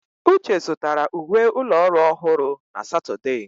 Uche zụtara uwe ụlọ ọrụ ọhụrụ na Satọde.